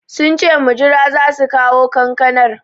Sunce mujira zasu kawo kankanar